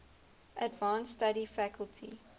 advanced study faculty